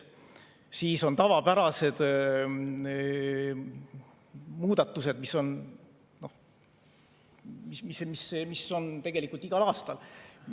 Siis on tavapärased muudatused, mis on tegelikult igal aastal.